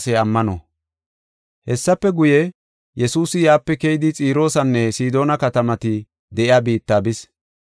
Hessafe guye, Yesuusi yaape keyidi Xiroosanne Sidoona katamati de7iya biitta bis.